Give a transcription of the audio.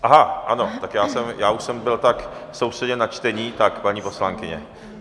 Aha, ano, tak já už jsem byl tak soustředěn na čtení, tak paní poslankyně.